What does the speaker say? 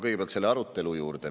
Kõigepealt selle arutelu juurde.